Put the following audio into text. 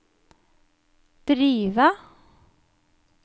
drive